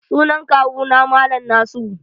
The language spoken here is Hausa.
Sunan Kawu na mallam Nasiru.